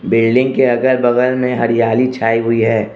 Building के अगल बगल में हरियाली छाई हुई है।